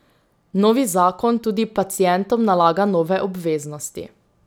Novi zakon tudi pacientom nalaga nove obveznosti.